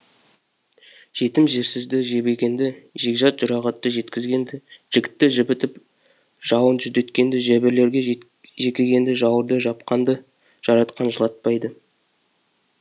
жетім жесірді жебегенді жекжат жұрағатты жеткізгенді жігітті жібітіп жауын жүдеткенді жебірлерге жекігенді жауырды жапқанды жаратқан жылатпайды